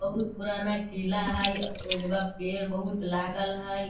बहुत पुराना किला हई ओइ में पेड़ बहुत लागल हई।